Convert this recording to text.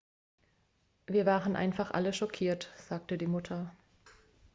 wir waren einfach alle schockiert sagte die mutter